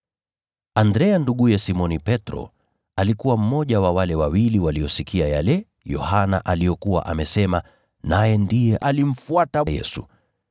Andrea nduguye Simoni Petro, alikuwa mmoja wa wale wawili waliosikia yale Yohana aliyokuwa amesema, naye ndiye alimfuata Yesu.